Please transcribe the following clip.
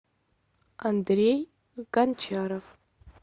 андрей гончаров